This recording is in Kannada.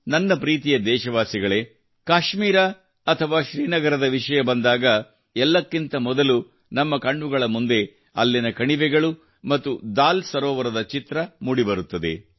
ನನ್ನ ಪ್ರೀತಿಯ ದೇಶವಾಸಿಗಳೇ ಕಾಶ್ಮೀರ ಅಥವಾ ಶ್ರೀನಗರದ ವಿಷಯ ಬಂದಾಗ ಎಲ್ಲಕ್ಕಿಂತ ಮೊದಲು ನಮ್ಮ ಕಣ್ಣುಗಳ ಮುಂದೆ ಅಲ್ಲಿನ ಕಣಿವೆಗಳು ಮತ್ತು ದಾಲ್ ಸರೋವರದ ಚಿತ್ರ ಮೂಡಿ ಬರುತ್ತದೆ